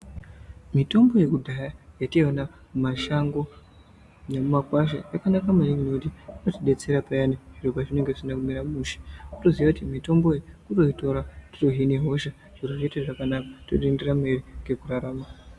Mitombo yekudhaya yataiona mumashango nemumakwasha yakanaka maningi ngekuti inotidetsera payani zviro pazvinenge zvisina kumira mushe wotoziya kuti mitombo inoitora kuhine hosha zviro zviite zvakanaka totoenderera mberi nekurarama.